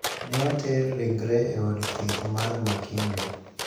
Ne oter ringregi e od thieth mar Makindu.